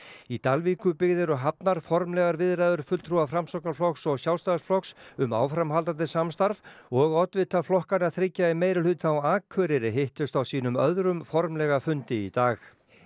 í Dalvíkurbyggð eru hafnar formlegar viðræður fulltrúa Framsóknarflokks og Sjálfstæðisflokks um áframhaldandi samstarf og oddvitar flokkanna þriggja í meirihluta á Akureyri hittust á sínum öðrum formlega fundi í dag